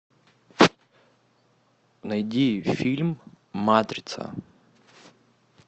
найди фильм матрица